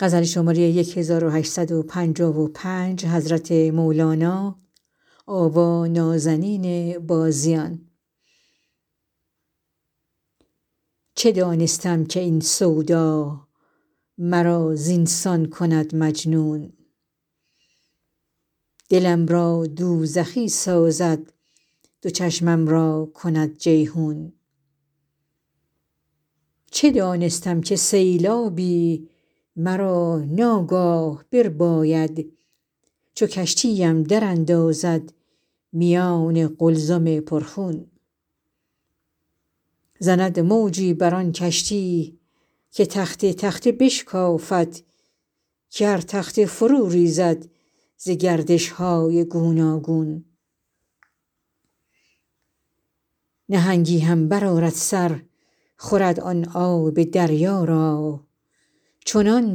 چه دانستم که این سودا مرا زین سان کند مجنون دلم را دوزخی سازد دو چشمم را کند جیحون چه دانستم که سیلابی مرا ناگاه برباید چو کشتی ام دراندازد میان قلزم پرخون زند موجی بر آن کشتی که تخته تخته بشکافد که هر تخته فروریزد ز گردش های گوناگون نهنگی هم برآرد سر خورد آن آب دریا را چنان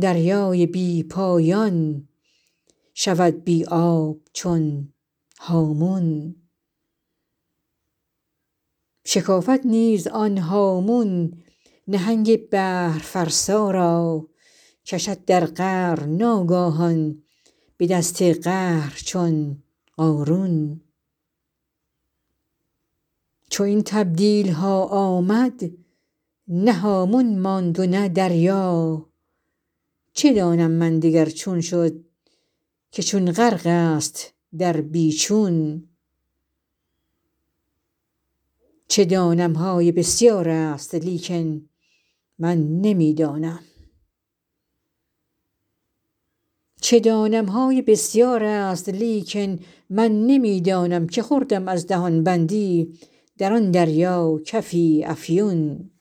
دریای بی پایان شود بی آب چون هامون شکافد نیز آن هامون نهنگ بحرفرسا را کشد در قعر ناگاهان به دست قهر چون قارون چو این تبدیل ها آمد نه هامون ماند و نه دریا چه دانم من دگر چون شد که چون غرق است در بی چون چه دانم های بسیار است لیکن من نمی دانم که خوردم از دهان بندی در آن دریا کفی افیون